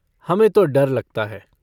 हमें तो डर लगता है।